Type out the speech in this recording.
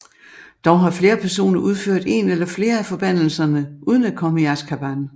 Dog har flere personer udført en eller flere af forbandelserne uden at komme i Azkaban